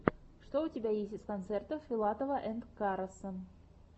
что у тебя есть из концертов филатова энд караса